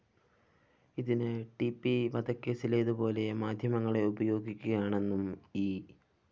ഇതിന് T P വധക്കേസിലേതു പോലെ മാധ്യമങ്ങളെ ഉപയോഗിക്കുകയാണെന്നും ഇ